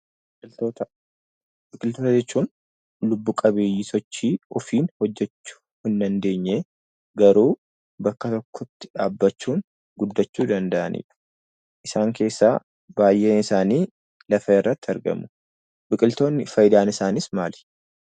Biqiltoota Biqiltoota jechuun lubbu qabeeyyii sochii ofiin hojjechuu hin dandeenye, garuu bakka tokkotti dhaabbachuun guddachuu danda'ani dha. Isaan keessaa baay'een isaanii lafa irratti argamu. Biqiltoonni faayidaan isaanii maali?